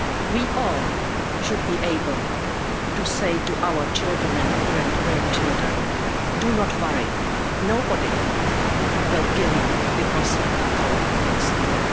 We all should be able to say to our children and grandchildren do not worry, nobody will kill you because of the colour of your skin'.